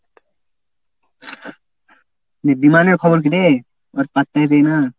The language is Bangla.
দি ধীমানের খবর কী রে? ওর পাত্তাই দেয় না।